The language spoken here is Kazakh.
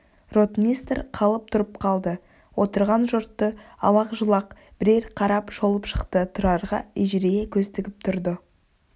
ротмистр қалт тұрып қалды отырған жұртты алақ-жұлақ бірер қарап шолып шықты тұрарға ежірейе көз тігіп тұрды